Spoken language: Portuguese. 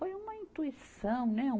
Foi uma intuição, né? Um